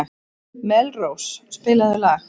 Melrós, spilaðu lag.